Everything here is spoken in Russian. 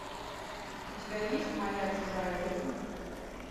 у тебя есть моя чужая жизнь